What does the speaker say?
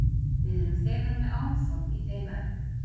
Við erum þegar með áform í þeim efnum.